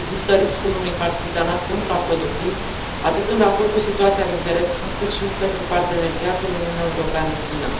Există riscul unui partizanat contraproductiv, atât în raport cu situația de pe teren, cât și pentru parteneriatul Uniunea Europeană China.